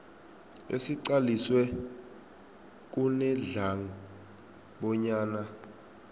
esiqaliswe kunedlac bonyana